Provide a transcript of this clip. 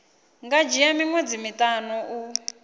nga dzhia miṅwedzi miṱanu u